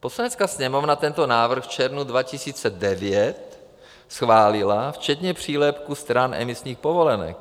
Poslanecká sněmovna tento návrh v červnu 2009 schválila včetně přílepku stran emisních povolenek.